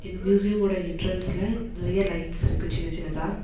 இந்த மியூசியமோட என்ட்ரன்ஸ்ல நறைய லைட்ஸ் இருக்கு சின்ன சின்னதா.